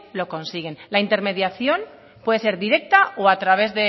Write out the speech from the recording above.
lo consiguen la intermediación puede ser directa o a través